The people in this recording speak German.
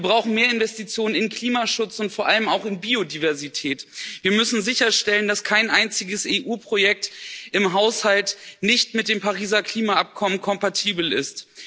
Wir brauchen mehr Investitionen in Klimaschutz und vor allem auch in Biodiversität. Wir müssen sicherstellen, dass kein einziges EU Projekt im Haushalt nicht mit dem Pariser Klimaabkommen kompatibel ist.